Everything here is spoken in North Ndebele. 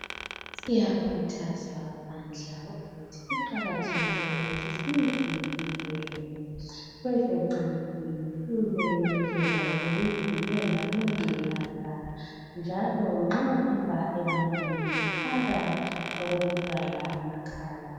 Siyakhuthazwa bandla ukuthi kuqakathekile ukuthi sizivikele kwezocansini kule ndlela zokuzivikela kungculaza njalo nxa uhamba ebantwini faka okukuvala amakhala